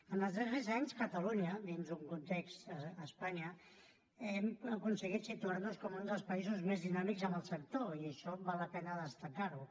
en els darrers anys catalunya dins d’un context a espanya hem aconseguit situar nos com un dels països més dinàmics en el sector i això val la pena destacar ho